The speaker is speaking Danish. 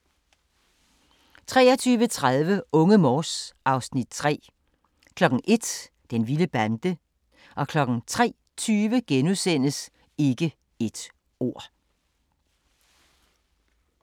23:30: Unge Morse (Afs. 3) 01:00: Den vilde bande 03:20: Ikke et ord *